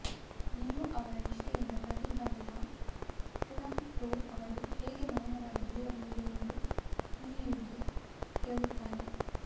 Liu ಅವರ ನಿಷ್ಠೆಯಿಂದ ಪ್ರಭಾವಿತರಾದ ಟುರಾಂಡೋಟ್ ಅವರು ಹೇಗೆ ಮೌನವಾಗಿ ಉಳಿಯಬಹುದು ಎಂದು ಲಿಯುಗೆ ಕೇಳುತ್ತಾನೆ